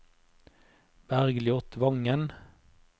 Bergljot Wangen